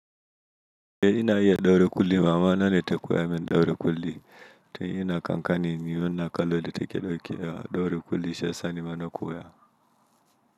Eh ina iya daure kulli mamana ne takoyamin daure kulli. Tun ina kankani nima na kallon yadda take doke daure kulli shiyasa nima na koya.